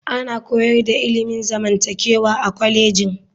Ana koyar da ilimin zamantakewa a kwalejin.